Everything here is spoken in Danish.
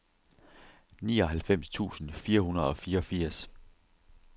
nioghalvfems tusind fire hundrede og fireogfirs